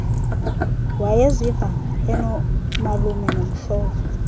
wayeziva enomalume nomhlobo